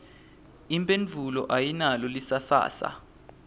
imphendvulo ayinalo lisasasa